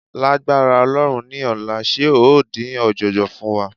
Lágbára Ọlọ́run ní ọ̀la, ṣe ó dín ọ̀jọ̀jọ̀ fún wa?